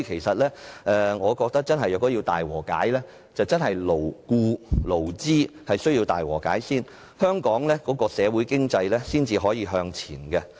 說到大和解，我認為勞僱或勞資雙方須先行大和解，香港的社會和經濟才得以向前行。